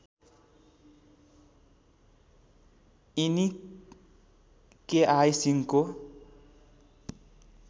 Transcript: यिनी केआई सिंहको